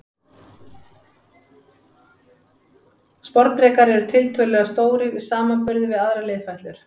Sporðdrekar eru tiltölulega stórir í samanburði við aðrar liðfætlur.